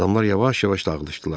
Adamlar yavaş-yavaş dağılışdılar.